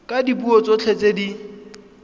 ka dipuo tsotlhe tse di